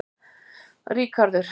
Ríkharður